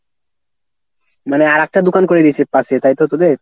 মানে আরাকটা দোকান করে দিছে পাশে তাই তো তোদের?